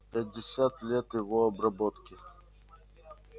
пятьдесят лет его обработки